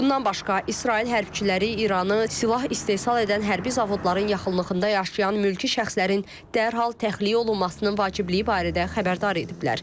Bundan başqa İsrail hərbçiləri İranı silah istehsal edən hərbi zavodların yaxınlığında yaşayan mülki şəxslərin dərhal təxliyə olunmasının vacibliyi barədə xəbərdar ediblər.